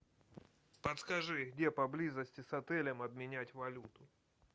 подскажи где поблизости с отелем обменять валюту